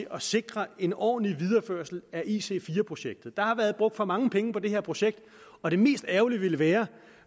at sikre en ordentlig videreførelse af ic4 projektet der har været brugt for mange penge på det her projekt og det mest ærgerlige ville være